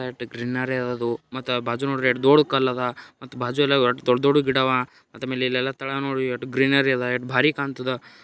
ಎಟ್ greenery ಅದ ಅದು. ಮತ್ತು ಬಾಜು ನೋಡ್ರಿ ಎಷ್ಟ್ ದೊಡ್ ಕಲ್ಲ್ ಅದ ಮತ್ತ್ ಬಾಜು ಎಲ್ಲ ದೊಡ್ ದೊಡ್ ಗಿಡ ಅವ ಮತ್ತ ಮೇಲೆಲ್ಲಾ ತಳ ನೋಡ್ರಿ ಎಟ್ ಗ್ರೀನರಿ ಅದ ಮತ್ತ ಬಾರಿ ಕಾಣ್ತದ.